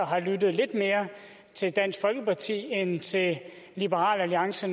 har lyttet lidt mere til dansk folkeparti end til liberal alliance